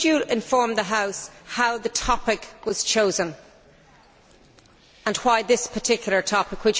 Could you inform the House how the topic was chosen and why this particular topic?